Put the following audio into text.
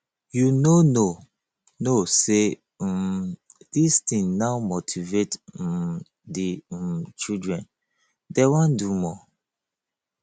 you no know know say um dis thing now motivate um the um children dey wan do more